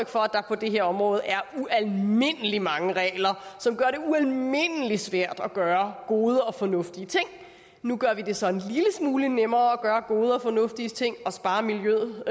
for at der på det her område er ualmindelig mange regler som gør det ualmindelig svært at gøre gode og fornuftige ting nu gør vi det så en lille smule nemmere at gøre gode og fornuftige ting og sparer miljøet